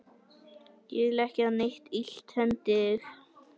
Ég vil ekki að neitt illt hendi þig.